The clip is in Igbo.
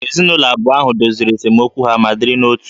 Ezinụlọ abụọ ahụ doziri esemokwu ha ma dịrị n'otu